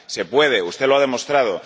Se puede, usted lo ha demostrado.